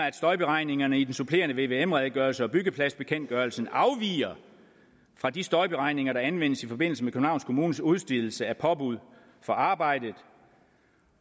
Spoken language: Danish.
at støjberegningerne i den supplerende vvm redegørelse og byggepladsbekendtgørelsen afviger fra de støjberegninger der anvendes i forbindelse med københavns kommunes udstedelse af påbud for arbejdet